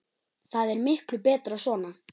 Þetta er miklu betra svona.